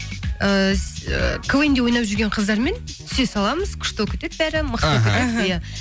ыыы ы квн де ойнап жүрген қыздармен түсе саламыз күшті болып кетеді бәрі иә